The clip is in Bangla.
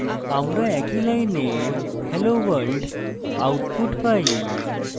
আমরা কিন্তু একই line hello world output পাই